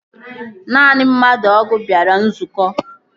Naanị mmadụ ọgụ bịara nzukọ